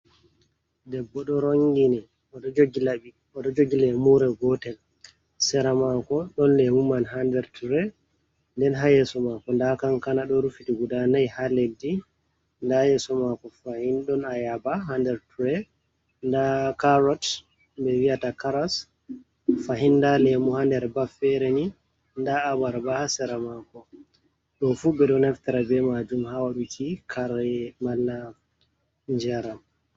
Debbo ɗo rongini, oɗo jogi laɓi, oɗo jogi leemure gootel. Sera maako ɗon lemu man haa nder tire. Nden haa yeeso maako nda kankana ɗo rufiti guda nai haa leddi. Nda yeeso maako fahin ɗon ayaba haa nder tire, nda carot ko ɓe viyata karas, fahin nda leemu haa nder baf feere ni, nda abarba haa sera maako. Ɗo fuu ɓe ɗo naftira bee maajum haa waɗuki kare malla njaram.